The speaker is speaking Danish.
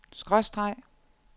skråstreg